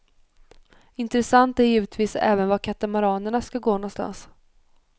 Intressant är givetvis även var katamaranerna ska gå någonstans.